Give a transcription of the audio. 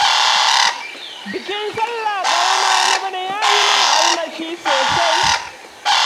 Bikin sallah ƙarama na bana ya yi min armashi sosai.